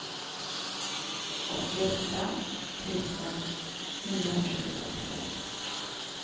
åttioåtta tusen niohundratjugotvå